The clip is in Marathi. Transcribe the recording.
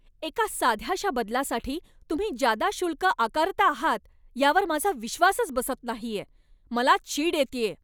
एका साध्याशा बदलासाठी तुम्ही जादा शुल्क आकारता आहात यावर माझा विश्वासच बसत नाहीय. मला चीड येतेय.